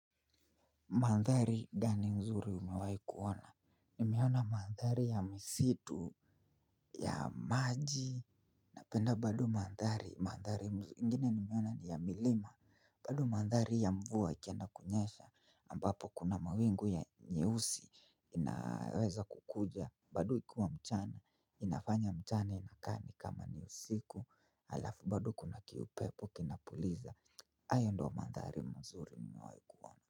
Mandhari, gani nzuri umewahi kuona? Nimeona mandhari ya misitu, ya maji, napenda bado mandhari. Mandhari ingine nimeona ni ya milima. Bado mandhari ya mvua ikendakunyesha, ambapo kuna mawingu ya nyeusi inaweza kukuja. Bado ikuwa mchana. Inafanya mchana inakaa nikama ni usiku, alafu bado kuna kiupepo kinapuliza. Ayo ndo mandhari mazuri, nimewai kuona.